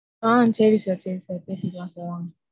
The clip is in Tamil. ஆஹ் சரி sir சரி sir பேசிக்கலாம் sir.